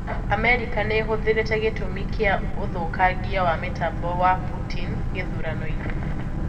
Amerika niihithuritie gitũmi kia ũthũkangia wa mitambo wa Putin githurano-ini.